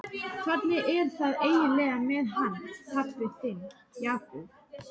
Hvernig er það eiginlega með hann pabba þinn, Jakob?